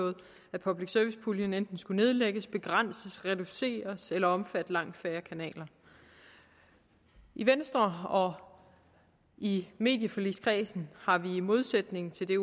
at public service puljen enten skulle nedlægges begrænses reduceres eller omfatte langt færre kanaler i venstre og i medieforligskredsen har vi i modsætning til det